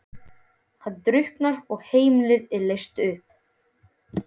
Hann drukknar og heimilið er leyst upp.